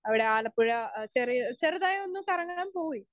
Speaker 1 അവിടെ ആലപ്പുഴ അ ചെറിയ ചെറുതായൊന്ന് കറങ്ങാൻ പോയി.